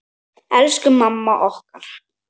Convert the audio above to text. Elsku mamma okkar.